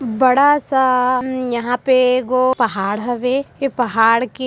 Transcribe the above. बड़ा सा यहाँ पे ए गो पहाड़ हवे ए पहाड़ के--